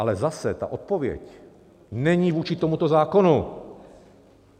Ale zase, ta odpověď není vůči tomuto zákonu.